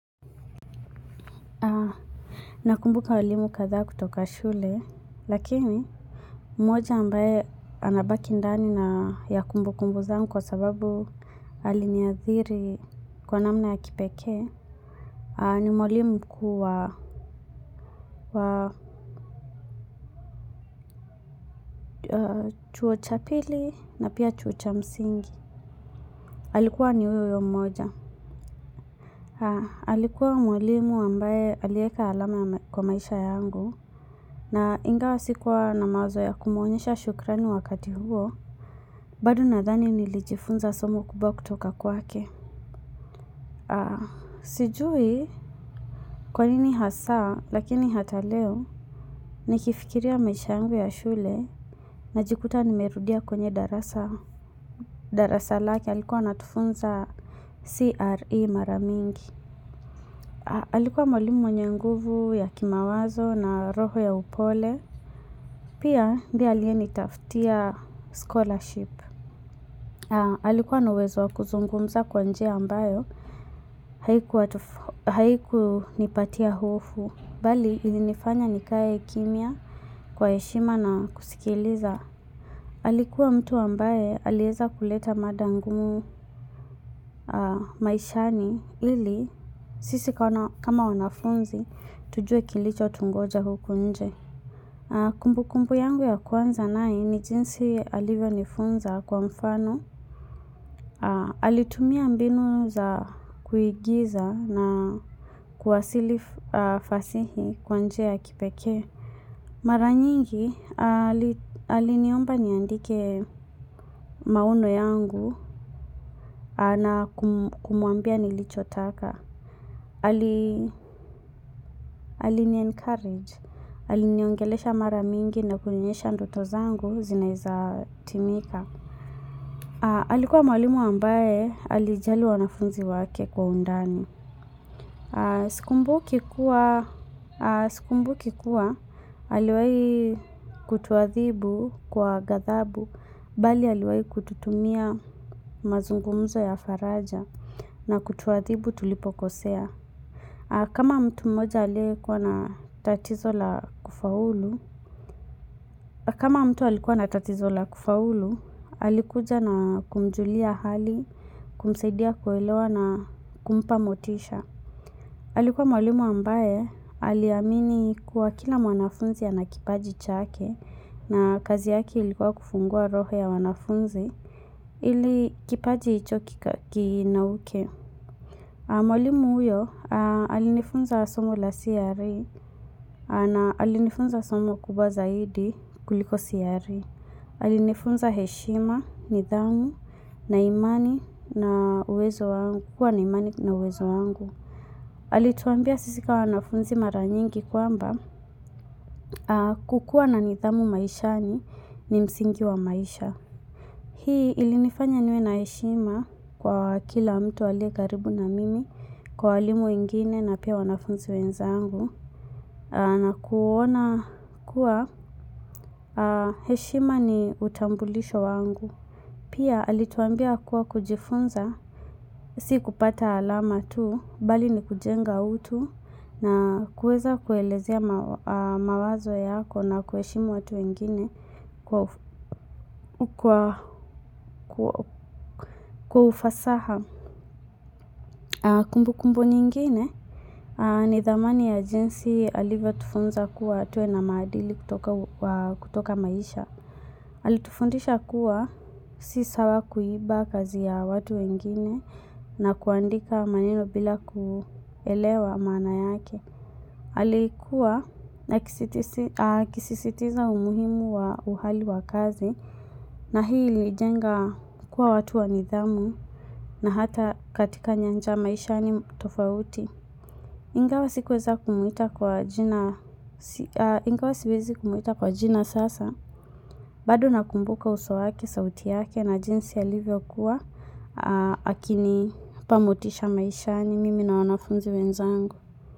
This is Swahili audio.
Nakumbuka walimu kadhaa kutoka shule, lakini mmoja ambaye anabaki ndani na ya kumbukumbu zangu kwa sababu aliniadhiri kwa namna ya kipeke. Ni mwalimu mkuu wa chuo cha pili na pia chuo cha msingi. Alikuwa ni huyo huyo mmoja. Alikuwa mwalimu ambaye alieka alama kwa maisha yangu. Na ingawa sikuwa na mazoea ya kumuonyesha shukrani wakati huo. Bado nadhani nilijifunza somo kubwa kutoka kwake. Sijui kwa nini hasa lakini hata leo nikifikiria maisha yangu ya shule najikuta nimerudia kwenye darasa. Darasa lake alikuwa anatufunza CRE mara mingi. Alikuwa mwalimu mwenye nguvu ya kimawazo na roho ya upole. Pia ndiye aliye nitafutia scholarship. Alikuwa na uwezo wa kuzungumza kwa njia ambayo haiku nipatia hofu. Bali ilinifanya nikae kimya kwa heshima na kusikiliza. Alikuwa mtu ambaye alieza kuleta mada ngumu maishani ili sisi kama wanafunzi tujue kilichotungoja huku nje. Kumbu kumbu yangu ya kwanza naye ni jinsi alivyonifunza kwa mfano. Alitumia mbinu za kuigiza na kuwasili fasihi kwa njia ya kipeke. Mara nyingi aliniomba niandike maono yangu na kumuambia nilicho taka. Alini encourage, aliniongelesha mara mingi na kuonyesha ndoto zangu zinaeza timika. Alikuwa mwalimu ambaye alijali wanafunzi wake kwa undani. Sikumbuki kuwa aliwai kutuathibu kwa gadhabu bali aliwai kututumia mazungumzo ya faraja na kutuathibu tulipokosea. Kama mtu mmoja aliekuwa na tatizo la kufaulu, alikuja na kumjulia hali kumsaidia kuelewa na kumpa motisha. Alikuwa mwalimu ambaye aliamini kuwa kila mwanafunzi ana kipaji chake na kazi yake ilikuwa kufungua roho ya wanafunzi ili kipaji ichoki kinauke. Mwalimu huyo alinifunza somo la CRE na alinifunza somo kubwa zaidi kuliko CRE. Alinifunza heshima, nidhamu, na imani na uwezo wangu. Alituambia sisi ka wanafunzi mara nyingi kwamba kukuwa na nidhamu maishani ni msingi wa maisha. Hii ilinifanya niwe na heshima kwa kila mtu aliye karibu na mimi kwa walimu wengine na pia wanafunzi wenzangu. Na kuona kuwa heshima ni utambulisho wangu. Pia alituambia kuwa kujifunza, si kupata alama tu, bali ni kujenga utu na kueza kuelezea mawazo yako na kuheshimu watu wengine kwa ufasaha kumbu kumbu nyingine. Ni dhamani ya jinsi alivyo tufunza kuwa tuwe na maadili kutoka maisha. Alitufundisha kuwa si sawa kuiba kazi ya watu wengine na kuandika maneno bila kuelewa maana yake. Alikuwa akisisitiza umuhimu wa uhali wa kazi na hii ilijenga kuwa watu wa nidhamu na hata katika nyanja maishani tofauti. Ingawa sikuweza kumuita kwa jina ingawa siwezi kumuita kwa jina sasa, bado nakumbuka uso wake, sauti yake na jinsi alivyo kuwa, akinipa motisha maishani, mimi na wanafunzi wenzangu.